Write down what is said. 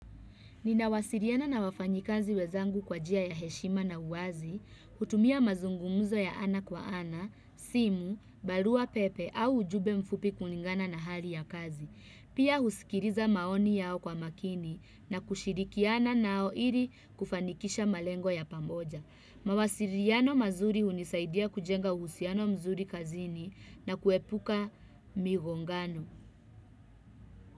Ninawasiliana na wafanyikazi wenzangu kwa njia ya heshima na uwazi, hutumia mazungumzo ya ana kwa ana, simu, barua pepe au ujumbe mfupi kulingana na hali ya kazi. Pia husikiliza maoni yao kwa makini na kushirikiana nao ili kufanikisha malengo ya pamoja. Mawasiliano mazuri hunisaidia kujenga uhusiano mzuri kazini na kuepuka migongano.